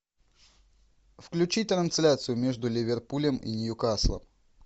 включи трансляцию между ливерпулем и ньюкаслом